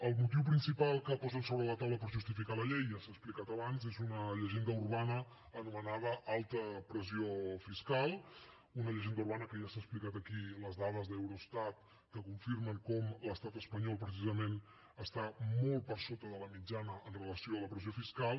el motiu principal que posen sobre la taula per justificar la llei ja s’ha explicat abans és una llegenda urbana anomenada alta pressió fiscal una llegenda urbana que ja s’ha explicat aquí les dades d’eurostat que confirmen com l’estat espanyol precisament està molt per sota de la mitjana amb relació a la pressió fiscal